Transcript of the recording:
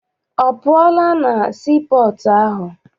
Ọ pụọla na sii pọọtụ ahụ?